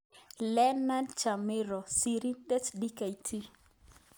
Leornard Chamriho. Sirindet-Dkt